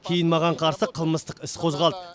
кейін маған қарсы қылмыстық іс қозғалды